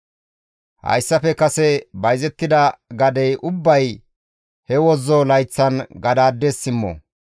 « ‹Hayssafe kase bayzettida gadey ubbay he wozzo layththan gadaades simmo.